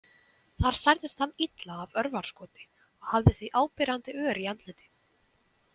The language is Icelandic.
Þar særðist hann illa af örvarskoti og hafði því áberandi ör í andliti.